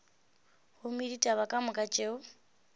gomme ditaba ka moka tšeo